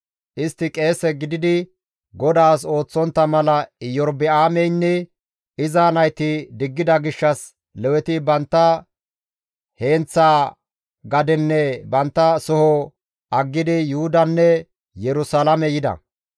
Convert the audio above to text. Istti qeese gididi GODAAS ooththontta mala Iyorba7aameynne iza nayti diggida gishshas Leweti bantta heenththa gadenne bantta soho aggidi Yuhudanne Yerusalaame yida.